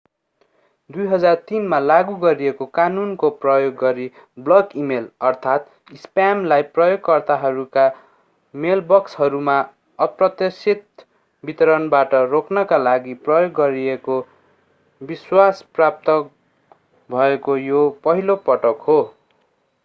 2003 मा लागू गरिएको कानूनको प्रयोग गरी बल्क इमेल अर्थात् स्प्यामलाई प्रयोगकर्ताहरूका मेलबक्सहरूमा अप्रत्याशित वितरणबाट रोक्नका लागि प्रयोग गरिएको विश्वास प्राप्त भएको यो पहिलो पटक हो